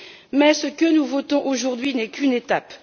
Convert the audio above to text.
Mais ce que nous votons aujourd'hui n'est qu'une étape.